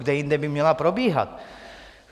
Kde jinde by měla probíhat?